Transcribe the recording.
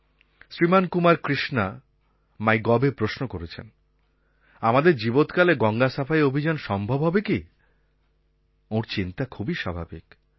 শ্রীমান কুমার কৃষ্ণা মাই গভএ প্রশ্ন করেছেন আমাদের জীবৎকালে গঙ্গা সাফাই অভিযান সম্ভব হবে কি ওঁর চিন্তা খুবই স্বাভাবিক